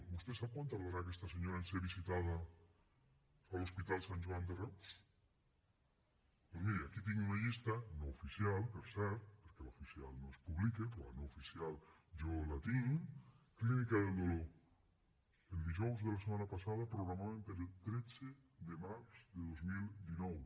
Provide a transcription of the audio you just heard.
vostè sap quant tardarà aquesta senyora en ser visitada a l’hospital sant joan de reus doncs miri aquí tinc una llista no oficial per cert perquè l’oficial no es publica però la no oficial jo la tinc clínica del dolor el dijous de la setmana passada programaven per al tretze de març de dos mil dinou